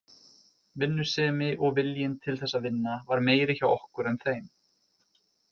Vinnusemi og viljinn til þess að vinna var meiri hjá okkur en þeim.